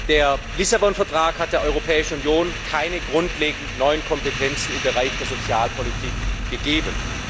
Der Lissabon Vertrag hat der Europäischen Union keine grundlegend neuen Kompetenzen im Bereich der Sozialpolitik gegeben.